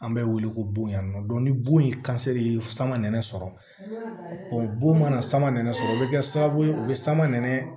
An bɛ wele ko bon yan nɔ ni bon ye ye sama nɛnɛ sɔrɔ o bon mana sama nɛnɛ sɔrɔ o bɛ kɛ sababu ye u bɛ sama nɛnɛ